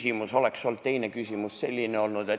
Mul oleks olnud teine küsimus selline ...